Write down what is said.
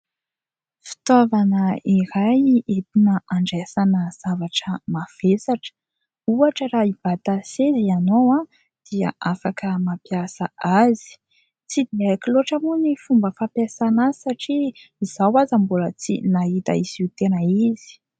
Fitaovana iray entina andraisana zavatra mavesatra. Ohatra raha hibata seza ianao dia afaka mampiasa azy. Tsy dia haiko loatra moa ny fomba fampiasana azy satria izaho aza mbola tsy nahita izy io tena izy.